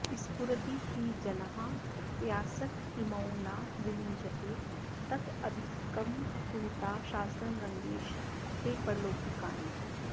स्फुरति हि जनाः प्रत्यासत्तेरिमौ न विविञ्चते तदधिकुरुतां शास्त्रं रङ्गेश ते परलोकिनि